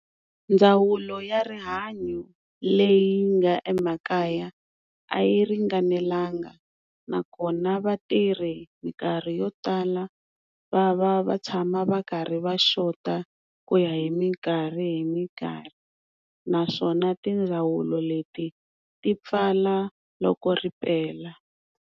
Ndzawulo ya rihanyo leyi nga emakaya a yi ringanelanga nakona vatirhi minkarhi yo tala va va va tshama va karhi va xota ku ya hi minkarhi hi minkarhi naswona tindzawulo leti ti pfala loko ripela.